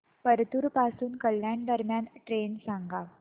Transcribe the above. परतूर पासून कल्याण दरम्यान ट्रेन सांगा